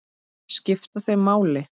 Skipta þau máli?